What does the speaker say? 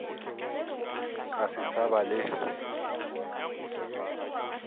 ka se sa ba le